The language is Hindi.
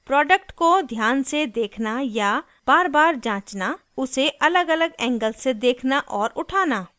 प्रोडक्ट को ध्यान से देखना या बारबार जाँचना उसे अलगअलग एंगल्स से देखना और उठाना